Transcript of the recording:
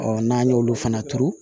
n'an y'olu fana turu